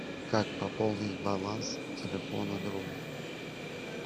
как пополнить баланс телефона другу